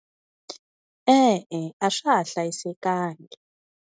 E-e, a swa ha hlayisekangi.